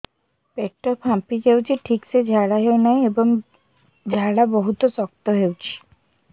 ପେଟ ଫାମ୍ପି ଯାଉଛି ଠିକ ସେ ଝାଡା ହେଉନାହିଁ ଏବଂ ଝାଡା ବହୁତ ଶକ୍ତ ହେଉଛି